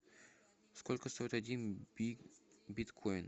сколько стоит один биткоин